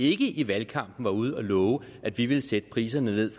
ikke i valgkampen var ude at love at vi ville sætte priserne ned